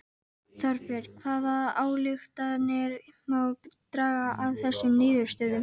Þorbjörn hvaða ályktanir má draga af þessum niðurstöðum?